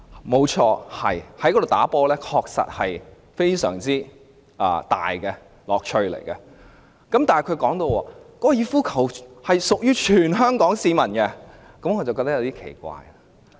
沒錯，在該處打球確實有很大的樂趣，但她提到香港哥爾夫球會屬於全香港市民時，我便感到有些奇怪。